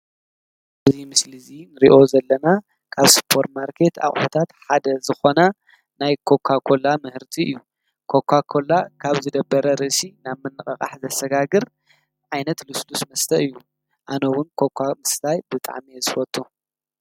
እዙይ ምስል እዙይ ንርእዮ ዘለና ካብ ሰፐር ማርኬት ኣቑሑታት ሓደ ዝኾነ ናይ ኮኳ ኮላ ምህርቲ እዩ፡፡ ኮኳ ኮላ ካብ ዝደበረ ርእሲ ናብ ምንቐቓሕ ዘሰጋግር ዓይነት ሉስሉስ መስተ እዩ፡፡ ኣነ ውን ኮኳ ምስታይ ብጣዕሜ እየ ዝፈቱ፡፡